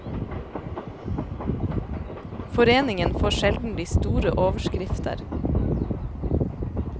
Foreningen får sjelden de store overskrifter.